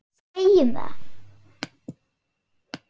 Segjum það.